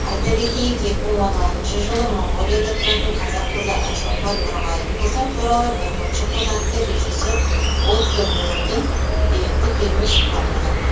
айта кетейік екі мың он алтыншы жылы моңғолияда тұратын қазақ қызы айшолпан нұрғайыпқызы туралы бүркітші қыз атты режиссер отто беллдің деректі фильмі шыққан болатын